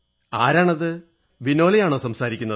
ആരാണത് വിനോൽ ആണോ സംസാരിക്കുന്നത്